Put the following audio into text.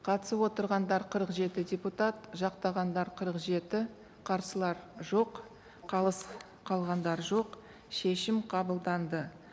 қатысып отырғандар қырық жеті депутат жақтағандар қырық жеті қарсылар жоқ қалыс қалғандар жоқ шешім қабылданды